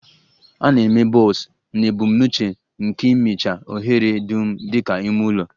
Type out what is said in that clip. A na-eme bulbs na ebumnuche nke ịmịcha ohere dum dị ka ime ụlọ